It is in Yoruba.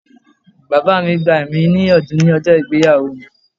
Bàbá mi gbà mí ní ìyànjú ní ọjọ́ ìgbéyàwó mi.